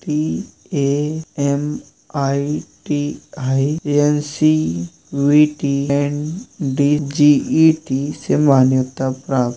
DA. M. ITI. NCVT. And DGET. से मान्यता प्राप्त --